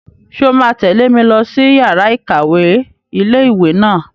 Ṣé o máa tẹ̀lé mi lọ sí yàrá-ìkàwé ilé-ìwé náà?